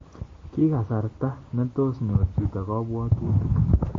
Ki kasarta nitoos nyor chito kabwatutik